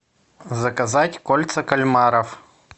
заказать кольца кальмаров